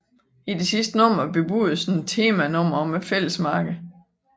I det sidste nummer bebudedes et temanummer om Fællesmarkedet